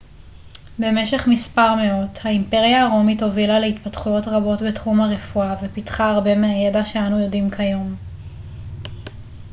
במשך מספר מאות האימפריה הרומית הובילה להתפתחויות רבות בתחום הרפואה ופיתחה הרבה מהידע שאנו יודעים כיום